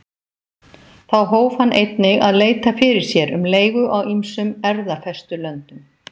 Þá hóf hann einnig að leita fyrir sér um leigu á ýmsum erfðafestulöndum.